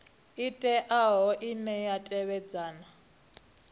teaho ine ya tevhedza na